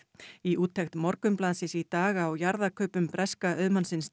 í úttekt Morgunblaðsins í dag á jarðakaupum breska auðmannsins